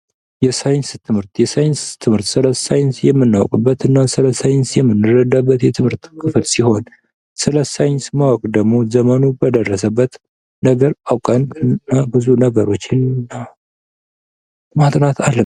የሳይንስ ትምህርት የሳይንስ ትምህርት ስለ ሳይንስ የምናውቅበት እና ስለ ሳይንስ የምንረዳበት የትምህርት ክፍል ሲሆን ስለ ሳይንስ የማወቅ ደግሞ ዘመኑ በደረሰበት ነገር አውቀን እና ብዙ ነገሮችን ማጥናት አለበን።